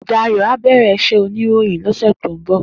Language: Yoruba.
Dayo á bèrè iṣè óniróyin lòsè tó n bò